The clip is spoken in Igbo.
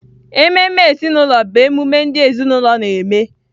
Ememe ezinụlọ bụ emume ndị ezinaụlọ na-eme